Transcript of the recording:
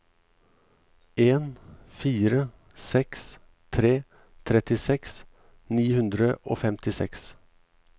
en fire seks tre trettiseks ni hundre og femtiseks